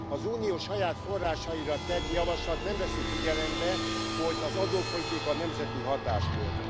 Az Unió saját forrásaira tett javaslat nem veszi figyelembe, hogy az adópolitika nemzeti hatáskör.